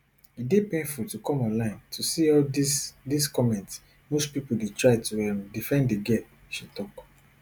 e dey painful to come online to see all dis dis comments most pipo dey try to um defend di girl she tok